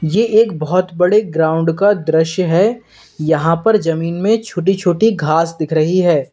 ये एक बहोत बड़े ग्राउंड का दृश्य है यहां पर जमीन में छोटी छोटी घास दिख रही है।